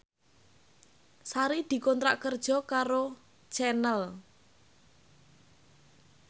Sari dikontrak kerja karo Channel